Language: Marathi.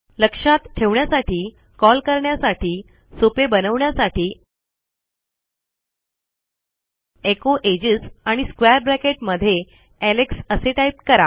लक्षात ठेवण्यासाठी कॉल करण्यासाठी सोपे बनवण्यासाठी एचो एजेस आणि स्क्वेअर ब्रॅकेट मध्ये एलेक्स असे टाईप करा